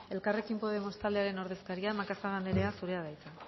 elkarrekin podemos taldearen ordezkaria macazaga anderea zurea da hitza